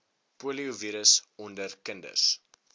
poliovirus onder kinders